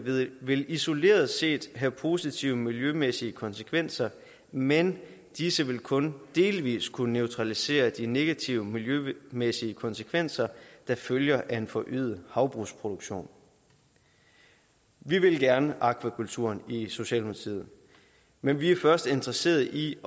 vil isoleret set have positive miljømæssige konsekvenser men disse vil kun delvis kunne neutralisere de negative miljømæssige konsekvenser der følger af en forøget havbrugsproduktion vi vil gerne akvakulturen i socialdemokratiet men vi er først interesseret i